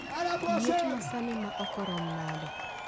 Liet ma sani ma oko rom nade